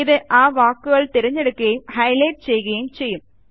ഇത് അ വാക്കുകളെ തിരഞ്ഞെടുക്കുകയും ഹൈലൈറ്റ് ചെയ്യുകയും ചെയ്യും